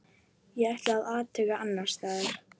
Ég ætla að athuga annars staðar.